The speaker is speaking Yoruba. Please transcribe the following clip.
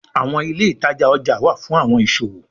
àwọn ilé ìtajà ọjà wá fún àwọn ìṣòwò